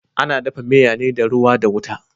Ana dafa miya ne da ruwa da wuta.